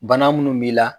Bana munnu b'i la